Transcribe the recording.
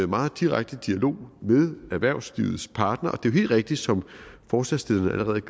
meget direkte dialog med erhvervslivets parter og det er jo helt rigtigt som forslagsstillerne allerede